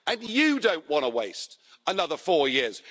You don't want to waste another four years.